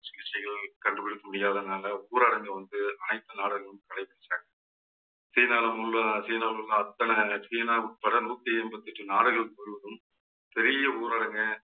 சிகிச்சைகள் கண்டுபிடிக்க முடியாதனால ஊரடங்கு வந்து அனைத்து நாடுகளும் கடைப்பிடிச்சாங்க. சீனால உள்ள சீனாவில் உள்ள அத்தனை சீனா உட்பட நூத்தி எண்பத்தி எட்டு நாடுகள் கூறுவதும் பெரிய ஊரடங்க